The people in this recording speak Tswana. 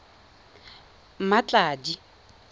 mmatladi